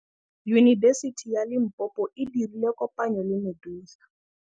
Yunibesiti ya Limpopo e dirile kopanyô le MEDUNSA.